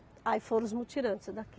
Aí foram os mutirantes daqui.